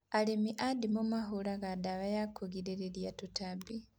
Arĩmi a ndimũ mahũraga ndawa ya kũgirĩrĩria tũtambi